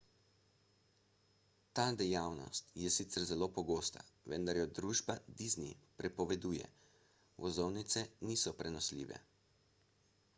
ta dejavnost je sicer zelo pogosta vendar jo družba disney prepoveduje vozovnice niso prenosljive